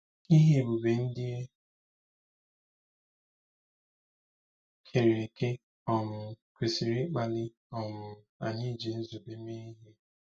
Ihe ebube ndị e kere eke um kwesịrị ịkpali um anyị iji nzube mee ihe.